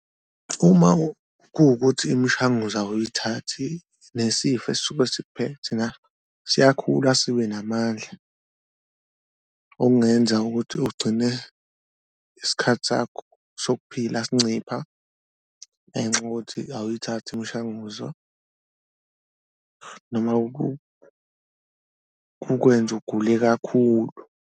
Uma kuwukuthi imishanguzo awuyithathi nesifo esisuke sikuphethe siyakhula sibe namandla okungenza ukuthi ugcine isikhathi sakho sokuphila sincipha, ngenxa yokuthi awuyithathi imishanguzo noma ukwenze ugule kakhulu.